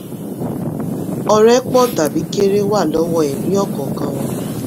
ọrẹ pọ̀ tàbí kéré wà lọ́wọ́ ẹ̀rí ọ̀kọ̀ọ̀kan wọn.